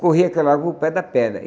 Corria aquela lagoa o pé da pedra.